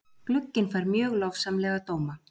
Glugginn fær mjög lofsamlega dóma.